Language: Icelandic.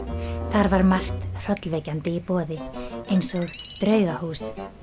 þar var margt hrollvekjandi í boði eins og draugahús